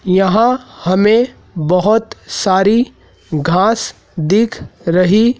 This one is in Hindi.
यहां हमें बहुत सारी घास दिख रही--